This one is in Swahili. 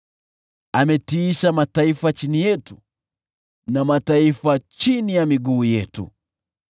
Ametiisha mataifa chini yetu watu wengi chini ya miguu yetu.